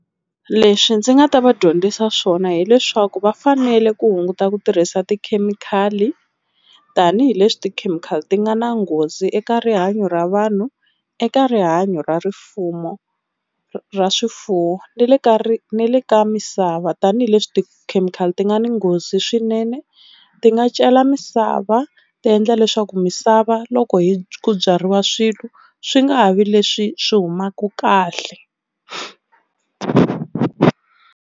Leswi ndzi nga ta va dyondzisa swona hileswaku va fanele ku hunguta ku tirhisa tikhemikhali tanihileswi tikhemikhali ti nga na nghozi eka rihanyo ra vanhu, eka rihanyo ra rifumo ra swifuwo na le ka ni le ka misava tanihileswi tikhemikhali ti nga ni nghozi swinene ti nga cela misava ti endla leswaku misava loko ku byariwa swilo swi nga ha vi leswi swi humaka kahle.